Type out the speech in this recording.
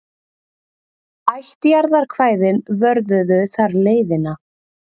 Ættjarðarkvæðin vörðuðu þar leiðina.